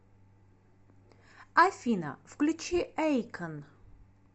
афина включи эйкон